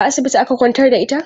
A asibiti aka kwantar da ita?